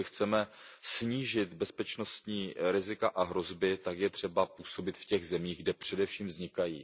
Jestli chceme snížit bezpečnostní rizika a hrozby, tak je třeba působit v těch zemích, kde především vznikají.